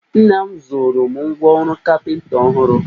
Nna m zụụrụ m ngwa ọrụ kapịnta ọhụrụ